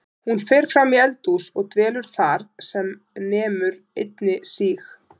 Hún fer fram í eldhús og dvelur þar sem nemur einni síg